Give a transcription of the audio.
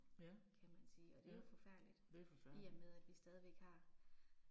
Ja, ja, det er forfærdeligt